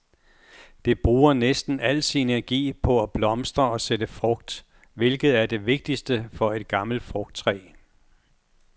Det bruger næsten al sin energi på at blomstre og sætte frugt, hvilket er det vigtigste for et gammelt frugttræ.